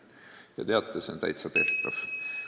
Ja teate, see on täitsa tehtav.